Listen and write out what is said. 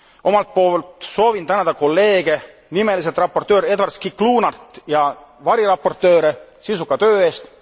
Omalt poolt soovin tänada kolleege, nimeliselt raportööri Edward Sciclunat ja variraportööre sisuka töö eest.